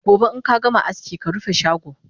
Gobe inkagama aski karufe shago!